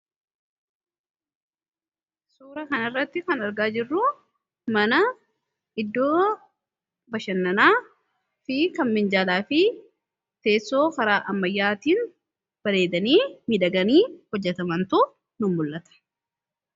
Suura kanirratti kan argaa jirru mana iddoo bashannanaa fi kan minjaalaa fi teessoo karaa ammayyaatiin bareedanii midaganii hojjatamantuu nun mul'ata.